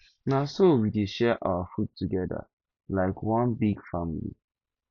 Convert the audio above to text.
na so we dey share our food togeda like one big family